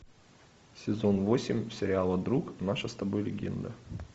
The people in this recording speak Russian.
сезон восемь сериала друг наша с тобой легенда